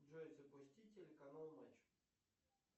джой запусти телеканал матч